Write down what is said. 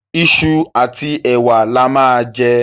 Iṣu àti ẹ̀wa la máa jẹ.